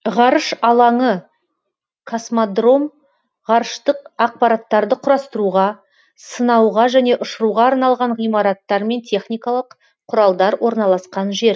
ғарыш алаңы космодром ғарыштық аппараттарды құрастыруға сынауға және ұшыруға арналған ғимараттар мен техникалық құралдар орналасқан жер